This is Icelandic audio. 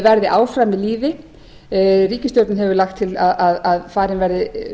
verði áfram við lýði ríkisstjórnin hefur lagt til að farin verði